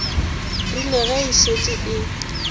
rile ge e šetše e